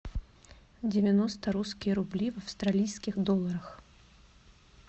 девяносто русские рубли в австралийских долларах